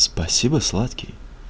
спасибо сладкий